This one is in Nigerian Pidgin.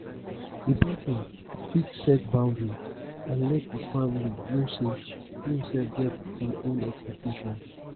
di person fit set boundary and let di family know sey im sef get im own expectation